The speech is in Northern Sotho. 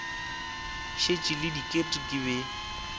šetše le diket ke be